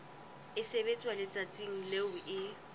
e sebetswa letsatsing leo e